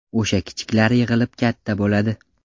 O‘sha kichiklar yig‘ilib katta bo‘ladi.